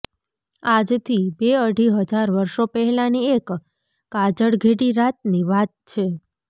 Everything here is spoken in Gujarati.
આજથી બે અઢી હજાર વર્ષો પહેલાંની એક કાજળઘેરી રાતની વાત છે